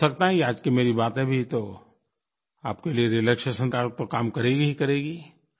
हो सकता है ये आज की मेरी बातें भी तो आपके लिये रिलैक्सेशन का तो काम करेंगी ही करेंगी